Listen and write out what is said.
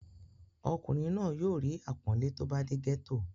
ọkùnrin náà yóò rí àpọ́nlé tó bá dé gẹ́tò